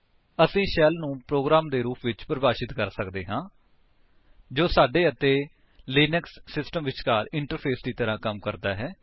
ਅਸੀ ਸ਼ੈਲ ਨੂੰ ਪ੍ਰੋਗਰਾਮ ਦੇ ਰੂਪ ਵਿੱਚ ਪਰਿਭਾਸ਼ਿਤ ਕਰ ਸਕਦੇ ਹਾਂ ਜੋ ਸਾਡੇ ਅਤੇ ਲਿਨਕਸ ਸਿਸਟਮ ਵਿਚਕਾਰ ਇੰਟਰਫੇਸ ਦੀ ਤਰ੍ਹਾਂ ਕੰਮ ਕਰਦਾ ਹੈ